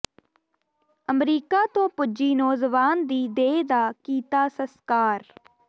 America ਤੋਂ ਪੁੱਜੀ ਨੌਜਵਾਨ ਦੀ ਦੇਹ ਦਾ ਕੀਤਾ ਸਸਕਾਰ